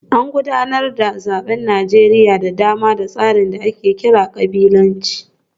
An gudanar da zaben Najeriya da dama da tsarin da ake kira kabilanci